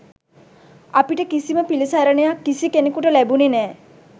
අපිට කිසිම පිළිසරණයක් කිසි කෙනකුට ලැබුණේ නෑ.